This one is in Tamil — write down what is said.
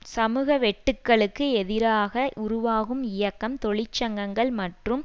சமூக வெட்டுக்களுக்கு எதிராக உருவாகும் இயக்கம் தொழிற்சங்கங்கள் மற்றும்